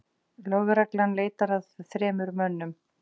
Lögreglan leitar að þremur mönnum